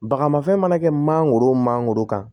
Baga mafɛn mana kɛ mangoro mangoro kan